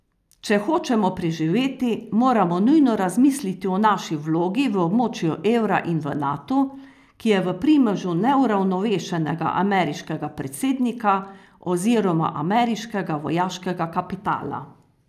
Če hočemo preživeti, moramo nujno razmisliti o naši vlogi v območju evra in v Natu, ki je v primežu neuravnovešenega ameriškega predsednika oziroma ameriškega vojaškega kapitala.